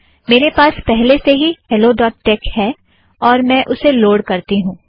मेरे पास पहले से ही helloटेक्स हैलो ड़ॉट टेक है और मैं उसे लोड़ करती हूँ